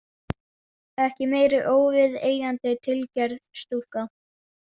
Ekki meiri óviðeigandi tilgerð, stúlka.